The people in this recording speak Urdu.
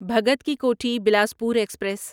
بھگت کی کوٹھی بلاسپور ایکسپریس